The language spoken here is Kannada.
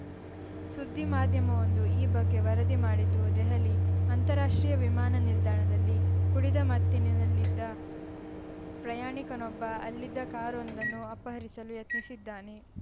ಸುದ್ದಿಮಾಧ್ಯವೊಂದು ಈ ಬಗ್ಗೆ ವರದಿ ಮಾಡಿದ್ದು ದೆಹಲಿ ಅಂತಾರಾಷ್ಟ್ರೀಯ ವಿಮಾನ ನಿಲ್ದಾಣದಲ್ಲಿ ಕುಡಿದ ಮತ್ತಿನಿನಲ್ಲಿದ್ದ ಪ್ರಯಾಣಿಕನೊಬ್ಬ ಅಲ್ಲಿದ್ದ ಕಾರೊಂದನ್ನು ಅಪಹರಿಸಲು ಯತ್ನಿಸಿದ್ದಾನೆ